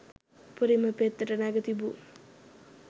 උපරිම පෙත්තට නැග තිබූ